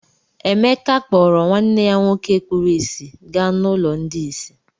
Emeka kpọọrọ nwanne ya nwoke kpuru ìsì gaa n’ụlọ ndị ìsì.